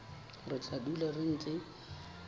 re tla dula re ntse